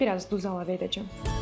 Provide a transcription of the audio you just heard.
Və bir az duz əlavə edəcəm.